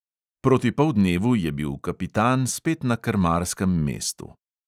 Proti poldnevu je bil kapitan spet na krmarskem mestu.